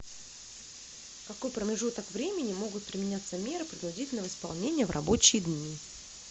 в какой промежуток времени могут применяться меры принудительного исполнения в рабочие дни